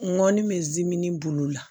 Nɔnɔni bɛ zimini bolo la